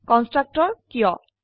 constructor কিয়160